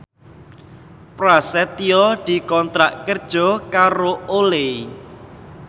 Prasetyo dikontrak kerja karo Olay